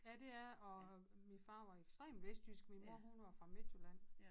Ja det er og min far var ekstremt vestjysk min mor hun var fra Midtjylland